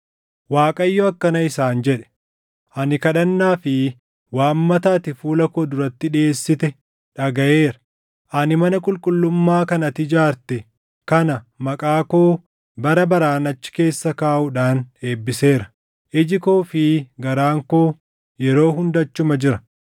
Waaqayyo akkana isaan jedhe: “Ani kadhannaa fi waammata ati fuula koo duratti dhiʼeessite dhagaʼeera; ani mana qulqullummaa kan ati ijaarte kana maqaa koo bara baraan achi keessa kaaʼuudhaan eebbiseera. Iji koo fi garaan koo yeroo hunda achuma jira.